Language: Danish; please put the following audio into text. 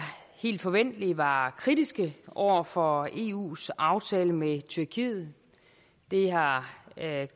helt forventeligt var kritiske over for eus aftale med tyrkiet det har